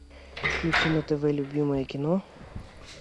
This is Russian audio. включи на тв любимое кино